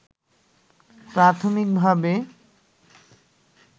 প্রাথমিক ভাবে